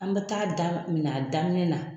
An bɛ taa daminɛ a daminɛ na.